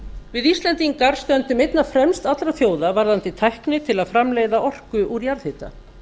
við íslendingar stöndum einna fremst allra þjóða varðandi tækni til að framleiða orku úr jarðhita